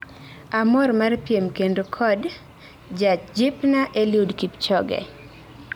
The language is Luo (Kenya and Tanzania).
Amor mar piem kendo kod jajipna Eliud Kipchoge